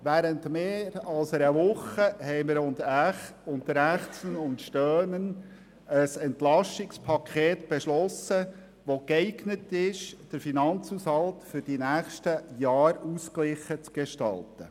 Während mehr als einer Woche haben wir unter Ächzen und Stöhnen ein Entlastungspaket (EP) beschlossen, das geeignet ist, den Finanzhaushalt für die nächsten Jahre ausgeglichen zu gestalten.